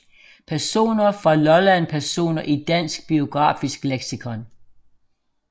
Personer fra Lolland Personer i Dansk Biografisk Leksikon